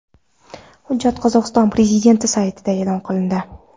Hujjat Qozog‘iston prezidenti saytida e’lon qilindi .